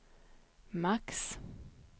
max